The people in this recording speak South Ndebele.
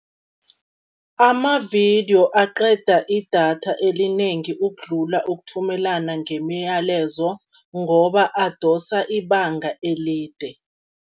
Amavidiyo aqeda idatha elinengi ukudlula ukuthumelana ngemiyalezo, ngoba adosa ibanga elide.